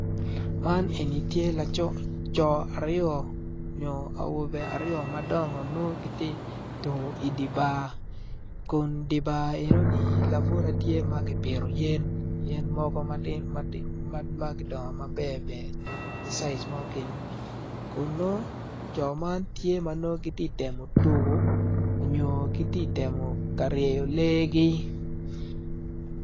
Man eni tye co aryo nyo awobe aryo madongo nongo giti tuko idi bar kun di bar enoni mukene tye ma kipito yen yen mogo ma gudongo maber ber kun nongo co man tye ma giti temo tuko onyo giti temo ka ryeyo legi.